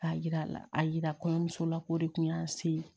K'a yira a yira kɔɲɔmuso la ko o de tun y'an se